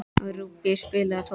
Rúbý, spilaðu tónlist.